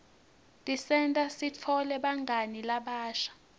tisenta sitfole bangani labasha